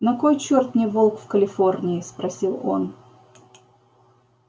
на кой чёрт мне волк в калифорнии спросил он